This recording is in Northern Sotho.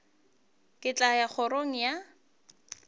ke tla ya kgorong ya